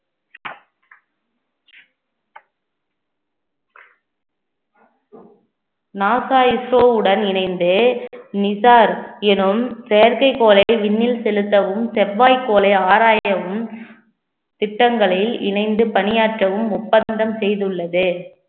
NASA ISRO வுடன் இணைந்து NISAR எனும் செயற்கைக்கோளை விண்ணில் செலுத்தவும் செவ்வாய் கோளை ஆராயவும் திட்டங்களை இணைந்து பணியாற்றவும் ஒப்பந்தம் செய்துள்ளது